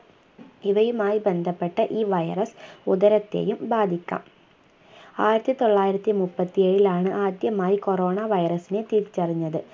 ഇവയുമായി ബന്ധപ്പെട്ട ഈ virus ഉദരത്തെയും ബാധിക്കാം ആയിരത്തിതൊള്ളായിരത്തിമുപ്പത്തിഏഴിലാണ് ആദ്യമായി corona virus നെ തിരിച്ചറിഞ്ഞത്